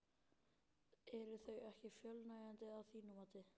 Eru þau ekki fullnægjandi að þínu mati?